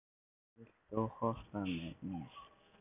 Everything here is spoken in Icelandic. Marvin, viltu hoppa með mér?